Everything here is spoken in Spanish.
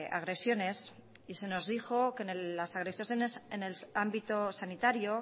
agresiones y se nos dijo que las agresiones en el ámbito sanitario